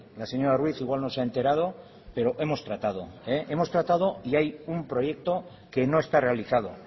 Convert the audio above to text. la señora ruiz igual no sea enterado pero hemos tratado hemos tratado y hay un proyecto que no está realizado